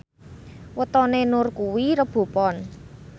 wetone Nur kuwi Rebo Pon